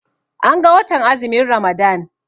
An ga watan azumin Ramadan.